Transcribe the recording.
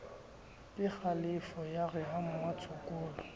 kekgalefo ya re ha mmatshokolo